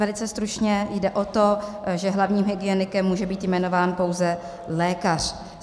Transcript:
Velmi stručně - jde o to, že hlavním hygienikem může být jmenován pouze lékař.